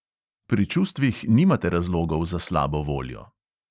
Pri čustvih nimate razlogov za slabo voljo.